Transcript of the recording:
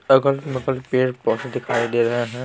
अगल बगल के पौधे दिखाई दे रहे हैं ।